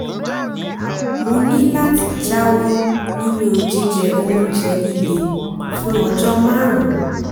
mo ní láti jáwọ́ nínú jíjẹ oúnjẹ líle fún ọjọ́ márùn-ún